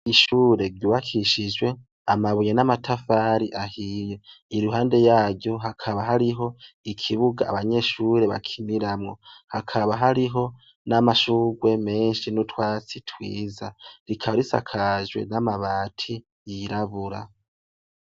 Ishure Ryubakishijwe amabuye n'amatafari ahiye iruhande yaryo hakaba hariho ikibuga abanyeshuri bakiniramwo hakaba hariho n'amashugwe meshi n'utwatsi twiza rikaba risakajwe n'amabati yirabura.